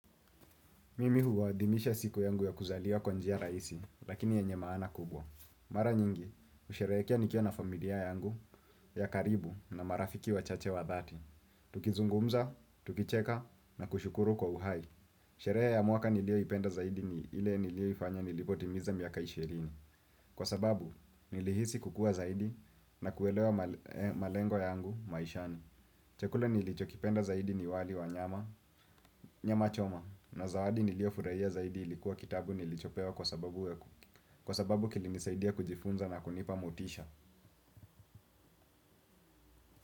Mimi huwadhimisha siku yangu ya kuzaliwa kwa njia rahisi, lakini yenye maana kubwa. Mara nyingi, usherekea nikiwa na familia yangu ya karibu na marafiki wa chache wa dhati. Tukizungumza, tukicheka na kushukuru kwa uhai. Sherehe ya mwaka nilioipenda zaidi ni ile nilio ifanya nilipotimiza miaka ishirini. Kwa sababu, nilihisi kukua zaidi na kuelewa malengo yangu maishani. Chakula nilicho kipenda zaidi ni wali wa nyama choma na zawadi nilio furaia zaidi ilikuwa kitabu nilicho pewa kwa sababu kwa sababu kilinisaidia kujifunza na kunipa motisha.